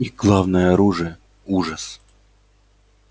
их главное оружие ужас